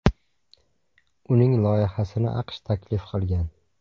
Uning loyihasini AQSh taklif qilgan.